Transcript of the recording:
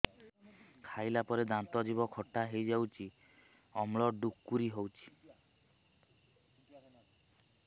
ଖାଇଲା ପରେ ଦାନ୍ତ ଜିଭ ଖଟା ହେଇଯାଉଛି ଅମ୍ଳ ଡ଼ୁକରି ହଉଛି